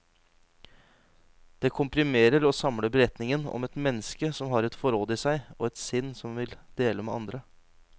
Det komprimerer og samler beretningen om et menneske som har et forråd i seg, og et sinn som vil dele med andre.